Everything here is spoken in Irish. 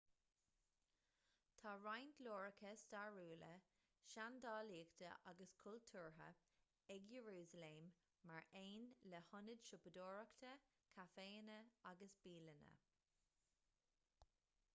tá roinnt láithreacha stairiúla seandálaíochta agus cultúrtha ag iarúsailéim mar aon le hionaid siopadóireachta caiféanna agus bialanna